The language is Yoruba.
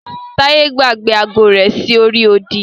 Taye gbàgbé agọ rẹ sí orí odì.